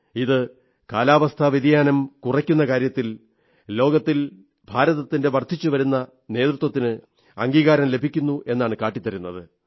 ഇത് കാലാവസ്ഥാ വ്യതിയാനം കുറക്കുന്ന കാര്യത്തിൽ ലോകത്തിൽ ഭാരതത്തിന്റെ വർധിച്ചുവരുന്ന നേതൃത്വത്തിന് അംഗീകാരം ലഭിക്കുന്നു എന്നാണ് കാട്ടിത്തരുന്നത്